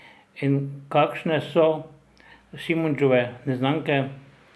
In kakšne so Šimundževe neznanke?